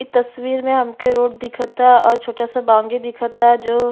इ तस्वीर में हमके रोड दिखता और छोटा सा बाउंड्री दिखता जो --